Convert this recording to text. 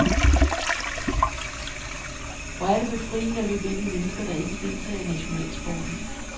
Hvor er det befriende at løbe ind i mennesker, der ikke deltager i nationalsporten.